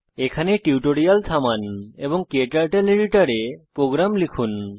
এখানে টিউটোরিয়াল থামান এবং ক্টার্টল এডিটর এ প্রোগ্রাম লিখুন